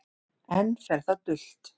Enn fer það dult